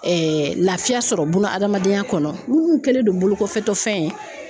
laafiya sɔrɔ bunadamadenya kɔnɔ munnu kɛlen do bolokɔfɛtɔfɛn ye.